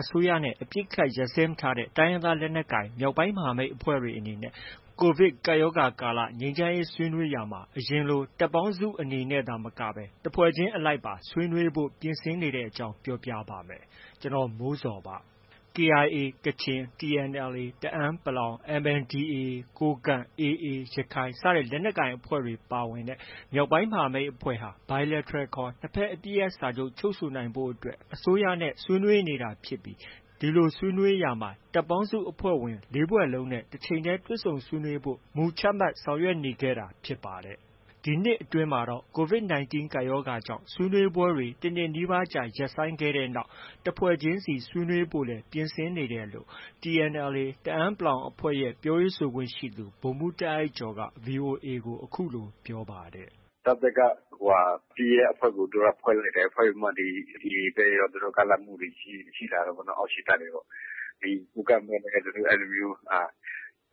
အစိုးရနဲ့ အပစ်အခတ် ရပ်စဲမထားတဲ့ တိုင်းရင်းသား လက်နက်ကိုင် မြောက်ပိုင်းမဟာမိတ်အဖွဲ့တွေအနေနဲ့ ကိုဗစ်ကပ်ရောဂါ ကာလ ငြိမ်းချမ်းရေး ဆွေးနွေးရာမှာ အရင်လို တပ်ပေါင်းစုအနေနဲ့ သာမကပဲ တစ်ဖွဲ့ချင်းအလိုက်ပါ ဆွေးနွေးဖို့ ပြင်ဆင်နေတဲ့အကြောင်း ပြောပြပါမယ်။ ဗွီအိုအေမြန်မာပိုင်းသတင်းထောက် ကိုမိုးဇော်က သတင်းပေးပို့ထားပါတယ်။ KIA ကချင်၊ TNLA တအန်း ၊ MNDAA ကိုးကန့်၊ AA ရခိုင်လက်နက်ကိုင်အဖွဲ့တွေပါဝင်တဲ့ မြောက်ပိုင်းမဟာမိတ် ၄ ဖွဲ့ဟာ Bilateral ခေါ် နှစ်ဘက် အပစ်ရပ်စာချုပ် ချုပ်ဆိုဖို့ အစိုးရနဲ့ ဆွေးနွေးနေတာ ဖြစ်ပြီး ဒီဆွေးနွေးရာမှာ တပ်ပေါင်းစုအဖွဲ့ဝင် ၄ ဖွဲ့လုံးနဲ့ တချိန်တည်း တွေ့ဆုံဆွေးနွေးဖို့ မူချမှတ်ဆောင်ရွက်နေခဲ့တာဖြစ်ပါတယ်။ ဒီနှစ်အတွင်းမှာတော့ COVID 19 ကပ်ရောဂါကြောင့် ဆွေးနွေးပွဲတွေ တနှစ်နီးပါးကြာ ရပ်ဆိုင်းခဲ့တဲ့နောက် တစ်ဖွဲ့ချင်းစီ ဆွေးနွေးဖို့လည်း ပြင်ဆင်နေတယ်လို့ TNLA တအန်း အဖွဲ့ရဲ့ ပြောရေးဆိုခွင့်ရှိသူ ဗိုလ်မှူး တာ့အိုက်ကျော်က VOA ကို အခုလို ပြောပါတယ်။ “တပ်ဘက်က သူတို့က အပစ်ရပ်အဖွဲ့ကို ဖွဲ့လိုက်တယ်။ ဖွဲ့ပြီးတော့မှ AA ဘက်ရော ကမ်းလှမ်းမှုတွေ ရှိလာတာပေါ့နော်။ အောက်ခြေတပ်တွေကနေပြီးတော့မှ။ ကိုးကန့်ဘက်လည်း သူတို့ အဲလိုမျိုး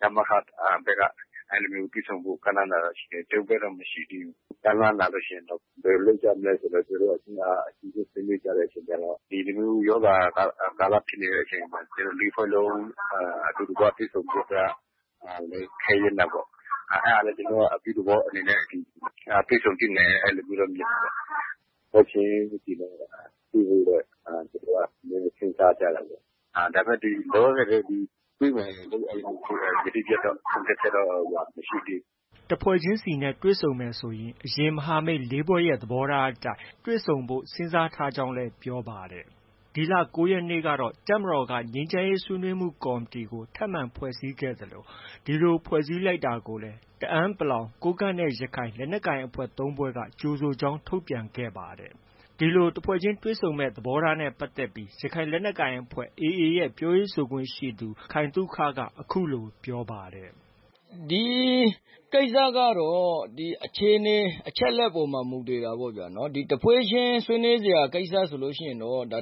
ရမခဘက်က တွေ့ဆုံဖို့ ကမ်းလှမ်းတာတွေ ရှိတယ်။ ကျနော်တို့ဘက်တော့ ကမ်းလှမ်းတာ မရှိသေးဘူး။ ကမ်းလှမ်းလာလို့ ရှိရင် ဘယ်လိုလုပ်ကြမလဲဆိုပြီး အချင်းချင်း ဆွေးနွေးကြတဲ့အခါကျတော့ ဒီလိုမျိုးရောဂါကာလ ဖြစ်နေတဲ့အချိန်မှာ ကျနော်တို့ ၄ ဖွဲ့လုံး အတူတကွ တွေ့ဆုံဖို့က နည်းနည်း ခဲယဉ်းတာပေါ့။ အဲဒါနဲ့ ကျနော်တို့က အပြုသဘောအနေနဲ့ တွေ့ဆုံသင့်တယ်။ အဲဒီလိုမျိုးတော့ မြင်တာပေါ့။ တစ်ဖွဲ့ချင်းစီနဲ့ တွေ့ဖို့တော့ ကျနော်တို့က စဉ်းစားကြတာပေါ့။ ဒါပေမဲ့ လောလောဆယ်တော့ တွေ့မယ်လို့ ယတိပြတ်တော့ ဆုံးဖြတ်ချက် မရှိသေးဘူး။” တစ်ဖွဲ့ချင်းစီနဲ့ တွေ့မယ်ဆိုရင် အရင် မဟာမိတ် ၄ ဖွဲ့ရဲ့ သဘောထားအတိုင်း တွေ့ဆုံဖို့စဉ်းစားထားကြကြောင်း ပြောပါတယ်။ ဒီလ ၉ ရက်နေ့က တပ်မတော်က ငြိမ်းချမ်းရေးဆွေးနွေးမှုကော်မတီကို ထပ်မံ ဖွဲ့စည်းခဲ့သလို ဒီလို ဖွဲ့စည်းလိုက်တာကိုလည်း တအန်း ၊ ကိုးကန့်နဲ့ ရခိုင် လက်နက်ကိုင် ၃ ဖွဲ့က ကြိုဆိုကြောင်း ထုတ်ပြန်ခဲ့ပါတယ်။ ဒီလို တစ်ဖွဲ့ချင်း တွေ့ဆုံမယ့် သဘောထားနဲ့ ပတ်သက်ပြီး ရခိုင်လက်နက်ကိုင်အဖွဲ့ AA ရဲ့ ပြောရေးဆိုခွင့်ရှိသူ ခိုင်သုခက အခုလို ပြောပါတယ်။ “ဒီကိစ္စကတော့ အခြေအနေ၊ အချက်အလက်ပေါ်မှာ မူတည်တာပေါ့ဗျာ။ တစ်ဖွဲ့ချင်း ဆွေးနွေးစရာ ကိစ္စဆိုရင်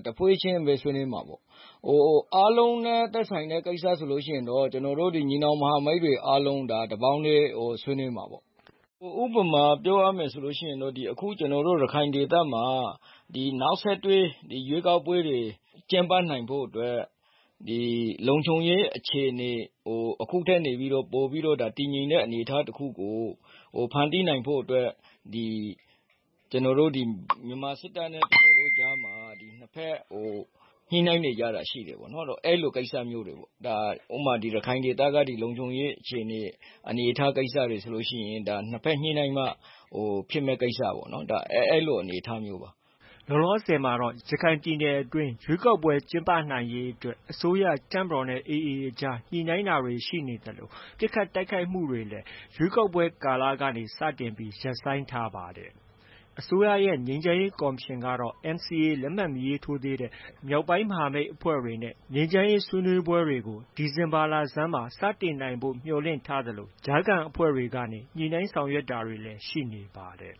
တစ်ဖွဲ့ချင်း ဆွေးနွေးမှာပေါ့။ အားလုံးနဲ့ သက်ဆိုင်တဲ့ ကိစ္စဆိုရင် ကျနော်တို့ ညီနောင်မဟာမိတ်တွေအားလုံး တပေါင်းတည်း ဆွေးနွေးမှာပေါ့။ ဥပမာ ပြောရမယ်ဆိုရင် ကျနော်တို့ ရခိုင်ဒေသမှာ နောက်ဆက်တွဲ ရွေးကောက်ပွဲတွေ ကျင်းပနိုင်ဖို့အတွက် လုံခြုံရေးအခြေအနေကို အခုထက်ပိုပြီး တည်ငြိမ်တဲ့ အနေအထားတစ်ခုကို ဖန်တီးနိုင်ဖို့အတွက် ဒီ မြန်မာစစ်တပ်နဲ့ ကျနော်တို့ကြားမှာ နှစ်ဘက် ညှိနှိုင်းနေကြတာ ရှိတယ်ပေါ့။ အဲဒီလို ကိစ္စမျိုးတွေပေါ့။ ဥပမာ ရခိုင်ဒေသက ဒီလုံခြုံရေးအခြေအနေ၊ အနေအထားကိစ္စတွေဆိုလို့ရှိရင် နှစ်ဘက်ညှိနှိုင်းမှ ဖြစ်မယ့် ကိစ္စပေါ့။ အဲလို အနေအထားမျိုးပါ။” လောလောဆယ်မှာတော့ ရခိုင်ပြည်နယ်အတွင်း ရွေးကောက်ပွဲ ကျင်းပနိုင်ရေးအတွက် အစိုးရ၊ တပ်မတော်နဲ့ AA အကြား ညှိနှိုင်းတာတွေ ရှိနေသလို ပစ်ခတ်တိုက်ခိုက်မှုတွေလည်း ရွေးကောက်ပွဲကာလကနေ စတင် ရပ်ဆိုင်းထားပါတယ်။ အစိုးရရဲ့ ငြိမ်းချမ်းရေးကော်မရှင်ကတော့ NCA လက်မှတ် မရေးထိုးသေးတဲ့ မြောက်ပိုင်းမဟာမိတ်အဖွဲ့တွေနဲ့ ငြိမ်းချမ်းရေးဆွေးနွေးပွဲတွေကို ဒီဇင်ဘာလဆန်းမှာ စတင်နိုင်ဖို့ မျှော်လင့်ထားသလို ကြားခံအဖွဲ့တွေကနေ ညှိနှိုင်းဆောင်ရွက်တာတွေ ရှိနေပါတယ်။